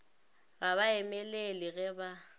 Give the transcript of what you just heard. ga ba emelele ge ba